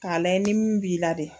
K'a layɛ nin min b'i la dɛ.